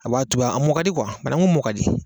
A b'a tuga a mɔ ka di banangu mɔ ka di